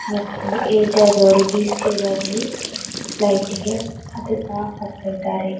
ಮತ್ತು ಏಜ್ ಆದವ್ರು ವ್ಹೀಲ್ ಛೇರಲ್ಲಿ ಫ್ಲೈಟಿಗೆ ಹತ್ತತಾ ಹೋಗ್ತಿದ್ದಾರೆ.